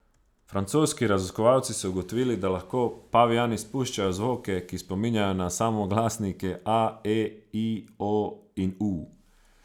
Francoski raziskovalci so ugotovili, da lahko pavijani spuščajo zvoke, ki spominjajo na samoglasnike a, e, i, o in u.